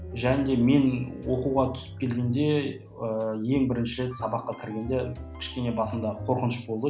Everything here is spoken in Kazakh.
және де мен оқуға түсіп келгенде ыыы ең бірінші сабаққа кіргенде кішкене басында қорқыныш болды